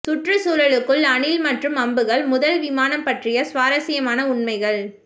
சுற்றுச்சூழலுக்குள் அணில் மற்றும் அம்புகள் முதல் விமானம் பற்றிய சுவாரஸ்யமான உண்மைகள்